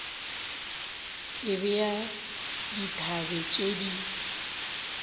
e bea dithabe tše di